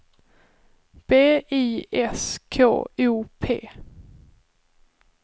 B I S K O P